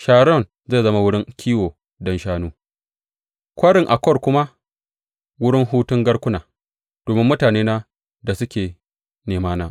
Sharon zai zama wurin kiwo don shanu, Kwarin Akor kuma wurin hutun garkuna, domin mutanena da suke nemana.